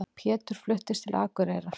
Pétur fluttist til Akureyrar.